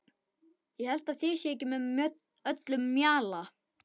Ég held að þið séuð ekki með öllum mjalla!